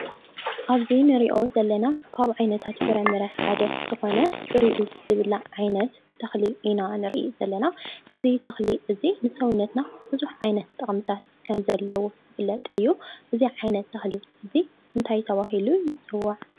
ኣብዚ እንሪኦ ዘለና ካብ ዓይነታት ፍረ-ምረ ሓደ ዝኾነ ፍሪኡ ዝብላዕ ዓይነት ተኽሊ ኢና ንሪኢ ዘለና ። እዚ ተኽሊ እዚ ንሰውነትና ብዙሕ ዓይነት ጠቅምታት ከም ዘለዎ ዝፍለጥ እዩ። እዚ ዓይነት ተኽሊ እዚ እንታይ ተባሂሉ ይፅዋዕ?